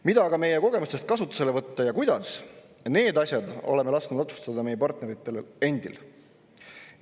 Mida aga meie kogemustest kasutusele võtta ja kuidas – need asjad oleme lasknud otsustada meie partneritel endil.